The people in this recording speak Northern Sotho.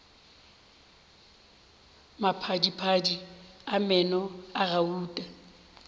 maphadiphadi a meno a gauta